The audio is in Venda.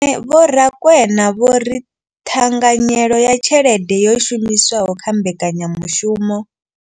Vho Rakwena vho ri ṱhanganyelo ya tshelede yo shumiswaho kha mbekanyamushumo.